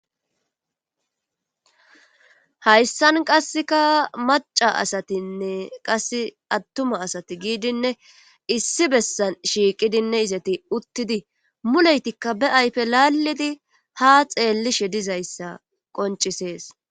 Hayssan qassekka macca asatinne atuma asati giigidinne issi bessan izati uttidi muletikka be ayfe laalidi ha xeelishe dizayssa qonccisees.